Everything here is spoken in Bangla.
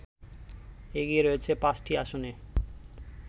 এগিয়ে রয়েছে ৫টি আসনে